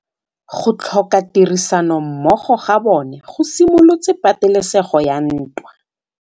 Go tlhoka tirsanommogo ga bone go simolotse patêlêsêgô ya ntwa.